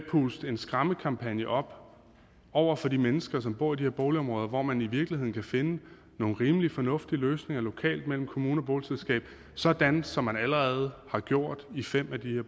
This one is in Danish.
puste en skræmmekampagne op over for de mennesker som bor i de her boligområder hvor man i virkeligheden kan finde nogle rimelig fornuftige løsninger lokalt mellem kommune og boligselskab sådan som man allerede har gjort i fem af de